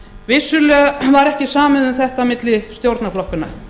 vissulega var ekki samið um þetta milli stjórnarflokkanna